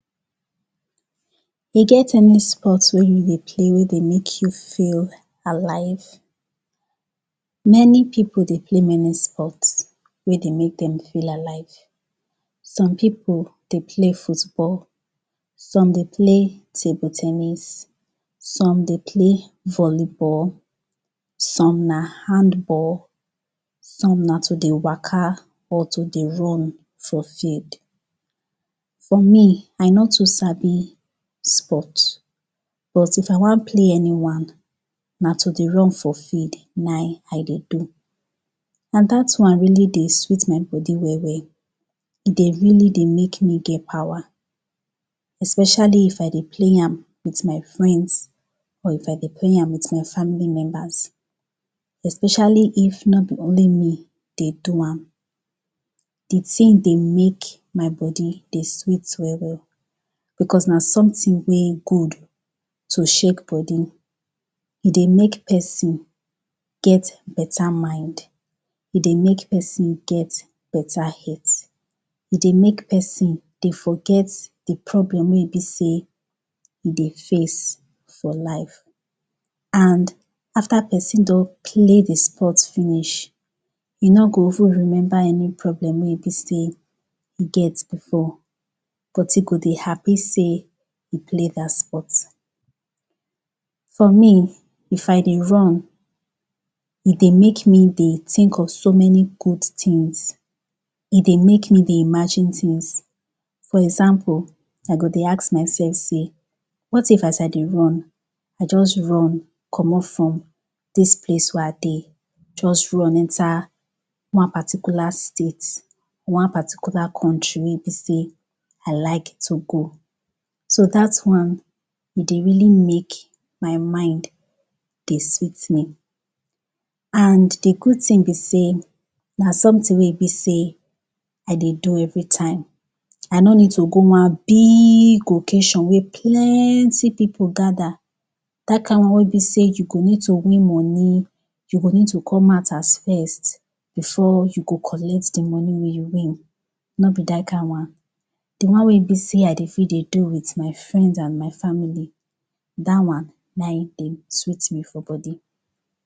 E get any sport wey you dey play wey e dey make you feel alive? Many pipo dey play many spot wey dey make dem feel alive. Some pipo dey play football, some dey play table ten nis, some dey play volleyball, some na handball, some na to dey waka or to dey run for field. For me, I no too sabi sport, but if I wan play any one, na to dey run for field na e I dey do. Na dat one really dey sweet my body well well. E dey really dey make me get power especially if I dey play am with my friends or if I dey play am with my family members. Especially if no be only me dey do am, de tin dey make my body de sweet well, well. becos na somtin wey good to shake body. E dey make pesin get beta mind. E dey make pesin get beta health. E dey make pesin dey forget dey problem wey e be sey e dey face for life. And, after pesin don play de sport finish, e no go even remember any problem wey e be sey e get before but e go dey happy sey e play dat sport For me, if I dey run, e dey make me dey tink of so many good tins. E dey make me dey imagine tins. For example, I go dey ask mysef sey, what if as I dey run, I just run comot from dis place wey I dey, just run enter one particular state, one particular country wey be sey I like to go. So dat one, e dey really make my mind, dey sweet me. And dey good tin be sey, na somtin wey be sey I dey do everytime. I no need go one big occasion wey plenty pipo gada, dat kind one wey be sey you go need to win moni, you go need to come out as first, before you go collect de moni wey you win. No be dat kind one. De one wey be sey I dey fit to do with my friends and my family, dat one, na e dey sweet me for body.